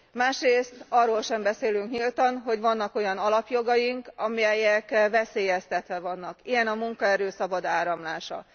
Másrészt arról sem beszélünk nyíltan, hogy vannak olyan alapjogaink, amelyek veszélyeztetve vannak ilyen a munkaerő szabad áramlása.